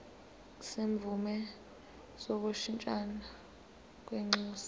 semvume yokushintshisana kwinxusa